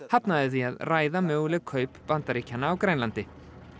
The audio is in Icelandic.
hafnaði því að ræða möguleg kaup Bandaríkjanna á Grænlandi